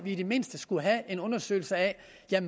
i det mindste skulle have en undersøgelse af